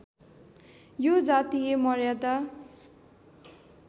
यो जातीय मर्यादा